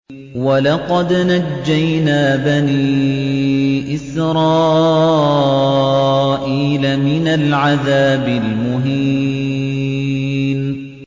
وَلَقَدْ نَجَّيْنَا بَنِي إِسْرَائِيلَ مِنَ الْعَذَابِ الْمُهِينِ